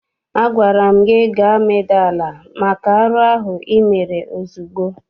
Agwara m gị gaa medaa ala maka arụ ahụ ị mere ozugbo!